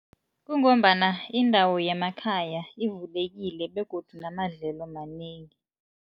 Kungombana indawo yemakhaya ivulekile begodu namadlelo manengi.